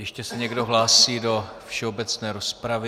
Ještě se někdo hlásí do všeobecné rozpravy?